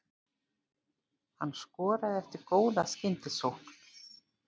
Hann skoraði eftir góða skyndisókn.